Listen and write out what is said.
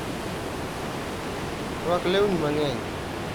Rwak leuni mang'eny.